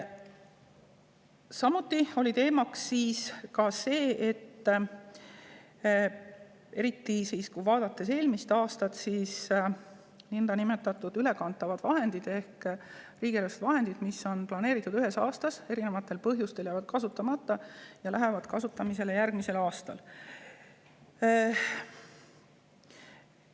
Samuti oli teemaks see, et eriti eelmise aasta näitel võib öelda, et niinimetatud ülekantavad vahendid ehk riigieelarve vahendid, mis on planeeritud kasutada ühel aastal, jäävad kasutamata – mitmesugustel põhjustel – ja lähevad kasutusse järgmisel aastal.